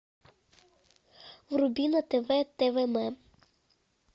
вруби на тв твм